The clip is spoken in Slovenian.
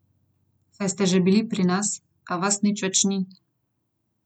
Saj ste že bili pri nas, a vas nič več ni.